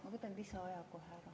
Ma võtan lisaaja ka kohe.